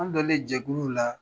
An donnen jɛkulu la.